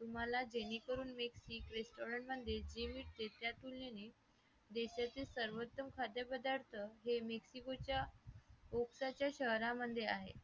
तुम्हाला जेणेकरून मी सिक restorant म्हणजे देशातील सर्वोत्तम खाद्यपदार्थ हे मिस उसकाच्या शहरांमध्ये आहे